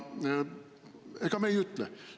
Ega me ei ütle …